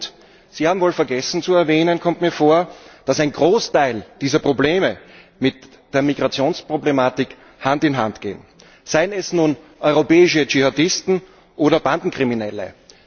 Und Sie haben wohl vergessen zu erwähnen, dass ein Großteil dieser Probleme mit der Migrationsproblematik Hand in Hand gehen, seien es nun europäische Dschihadisten oder Bandenkriminelle.